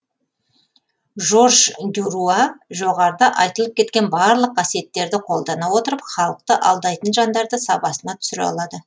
жорж дюруа жоғарыда айтылып кеткен барлық қасиеттерді қолдана отырып халықты алдайтын жандарды сабасына түсіре алады